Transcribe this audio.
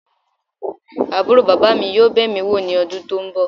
Aburo baba mi yoo be mi wo ni odun to nbo.